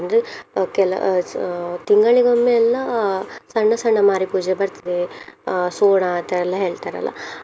ಅಂದ್ರೆ ಅಹ್ ಕೆಲ~ ಅಹ್ ತಿಂಗಳಿಗೊಮ್ಮೆ ಎಲ್ಲ ಸಣ್ಣ ಸಣ್ಣ ಮಾರಿಪೂಜೆ ಬರ್ತದೆ ಅಹ್ ಸೋಣ ಅಂತ ಎಲ್ಲ ಹೇಳ್ತಾರಲ್ಲ.